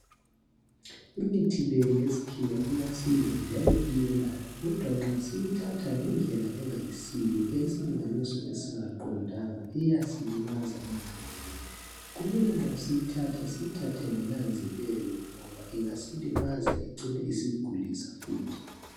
Imithi le yesikhiwa iyasiza njalo iyelapha kodwa nxa siyithatha ngendlela engayisiyo isilinganiso esingaqondanga iyasilimaza emzimbeni kumele nxa siyithatha siyithathe ngonanzelelo ngoba ingasilimaza icine isigulisa futhi.